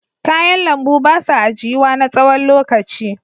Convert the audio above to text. Kayan lambu ba sa ajiyuwa na tsawon lokaci.